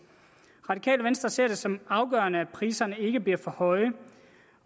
radikale venstre ser det som afgørende at priserne ikke bliver for høje